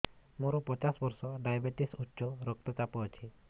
ମୋର ପଚାଶ ବର୍ଷ ଡାଏବେଟିସ ଉଚ୍ଚ ରକ୍ତ ଚାପ ଅଛି